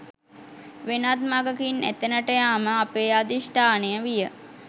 වෙනත් මගකින් එතැනට යාම අපේ අධිෂ්ඨානය විය